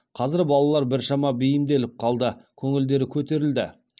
қазір балалар біршама бейімделіп қалды көңілдері көтерілді